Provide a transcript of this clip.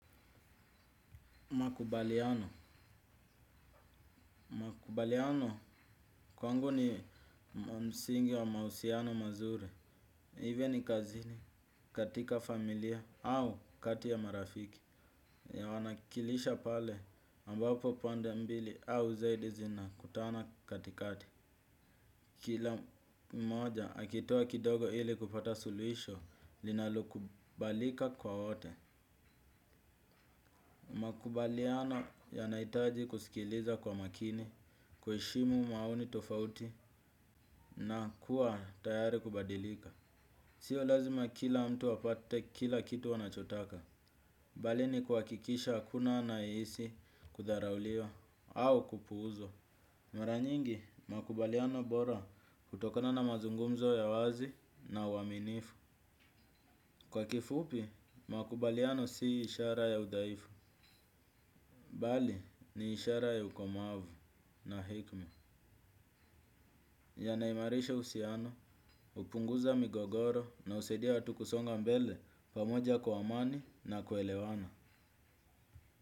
Makubaliano. Makubaliano kwangu ni msingi wa mausiano mazuri. Iwee ni kazini katika familia au kati ya marafiki ya wanakilisha pale ambapo pande mbili au zaidi zinakutana katikati. Kila moja akitoa kidogo ili kupata suluhisho linalokubalika kwa wote. Makubaliano yanaitaji kusikiliza kwa makini, kuheshimu maoni tofauti na kuwa tayari kubadilika. Sio lazima kila mtu apate kila kitu wanachotaka. Bali ni kuhakikisha kuna anayehisi kudharauliwa au kupuuzwa. Mara nyingi, makubaliano bora hutokona na mazungumzo ya wazi na uaminifu. Kwa kifupi, makubaliano si ishara ya udhaifu. Bali, ni ishara ya ukomavu na hekma. Yanaimarisha uhusiano, upunguza migogoro na husaidia waatu kusonga mbele pamoja kwa amani na kuelewana.